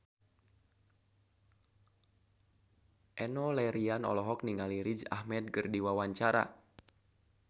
Enno Lerian olohok ningali Riz Ahmed keur diwawancara